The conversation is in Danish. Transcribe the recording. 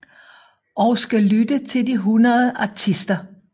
Og skal lytte til de 100 artister